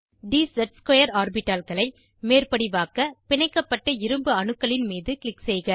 dz2 ஆர்பிட்டால்களை மேற்படிவாக்க பிணைக்கப்பட்ட இரும்பு அணுக்களின் மீது க்ளிக் செய்க